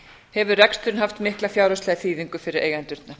hefur reksturinn haft mikla fjárhagslega þýðingu fyrir eigendurna